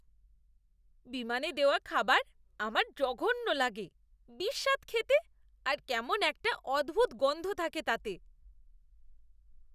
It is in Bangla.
বিমানে দেওয়া খাবার আমার জঘন্য লাগে। বিস্বাদ খেতে আর কেমন একটা অদ্ভুত গন্ধ থাকে তাতে।